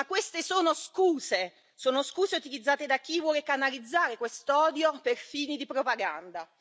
Ma queste sono scuse, sono scuse utilizzate da chi vuole canalizzare questo odio per fini di propaganda.